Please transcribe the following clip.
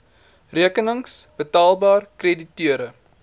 rekenings betaalbaar krediteure